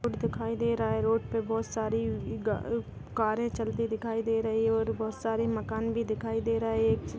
एक रोड दिखाई दे रहा है रोड पे बहुत सारे गाड़ी कारें चलती दिखाई दे रही है और बहुत सारे मकान भी दिखाई दे रहा है।